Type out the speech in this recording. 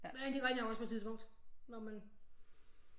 Men de ringer også på et tidspunkt når man